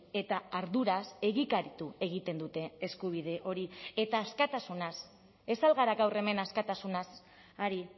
eta arduraz egikaritu egiten dute eskubide hori eta askatasunaz ez al gara gaur hemen askatasunaz ari